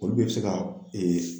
Olu bɛ se ka